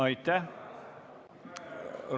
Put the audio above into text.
Aitäh!